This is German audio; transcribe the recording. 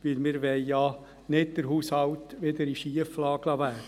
Denn wir wollen ja nicht, dass der Haushalt wieder in eine Schieflage gerät.